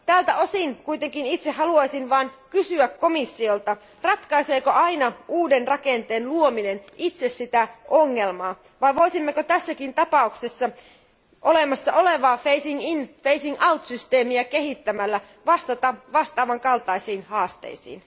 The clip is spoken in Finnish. Tältä osin kuitenkin itse haluaisin vain kysyä komissiolta Ratkaiseeko aina uuden rakenteen luominen itse ongelmaa, vai voisimmeko tässäkin tapauksessa olemassa olevaa phasing in, phasing out järjestelmää kehittämällä vastata vastaavan kaltaisiin haasteisiin?